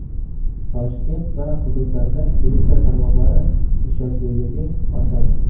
Toshkent va hududlarda elektr tarmoqlari ishonchliligi ortadi.